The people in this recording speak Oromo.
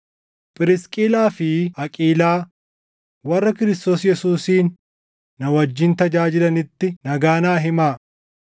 Phirisqilaa fi Aqiilaa, warra Kiristoos Yesuusiin na wajjin tajaajilanitti nagaa naa himaa.